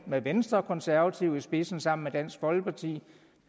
med venstre og konservative i spidsen sammen med dansk folkeparti